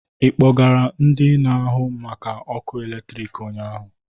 Ị kpọgara ndị na-ahụ maka ọkụ eletrik ụnyaahụ?